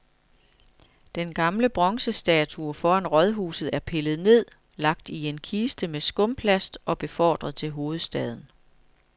Den gamle bronzestatue foran rådhuset er pillet ned, lagt i en kiste med skumplast og befordret til hovedstaden.